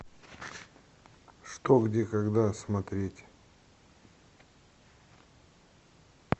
что где когда смотреть